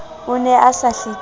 o ne a sa hlekefetse